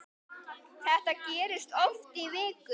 Þetta gerðist oft í viku.